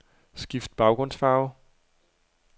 Skift baggrundsfarve.